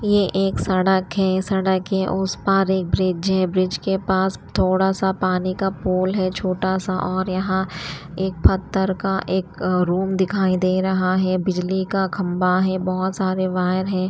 ये एक सड़क है सड़क है उस पार एक ब्रिज है ब्रिज के पास थोड़ा सा पानी का पुल है छोटा सा और यहां एक पत्थर का एक रूम दिखाई दे रहा है बिजली का खंबा है बहोत सारे वायर है।